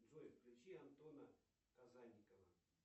джой включи антона казанникова